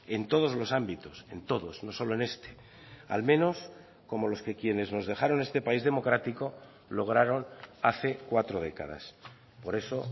en todos los ámbitos en todos no solo en este al menos como los que quienes nos dejaron este país democrático lograron hace cuatro décadas por eso